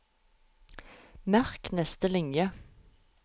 Merk neste linje